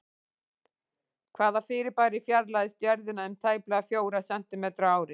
Hvaða fyrirbæri fjarlægist Jörðina um tæplega fjóra sentímetra á ári?